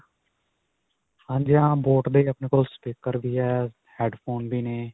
ਹਾਂਜੀ ਹਾਂ. boat ਦੇ ਆਪਣੇ ਕੋਲ speaker ਵੀ ਹੈ, headphone ਵੀ ਨੇ.